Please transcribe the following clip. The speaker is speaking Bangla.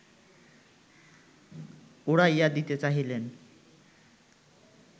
উড়াইয়া দিতে চাহিলেন